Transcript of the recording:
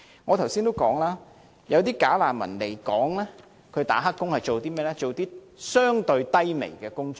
我剛才已經指出，"假難民"來港當"黑工"，所做的是甚麼工作呢？